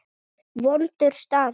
Vondur staður.